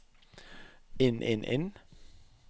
inn inn inn